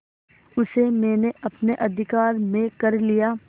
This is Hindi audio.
उसे मैंने अपने अधिकार में कर लिया